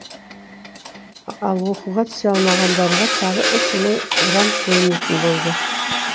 ал оқуға түсе алмағандарға тағы үш мың грант бөлінетін болды